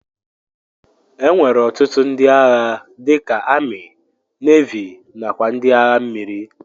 Enwere ọtụtụ ndi agha dika ami, navi nakwa ndi agha mmiri.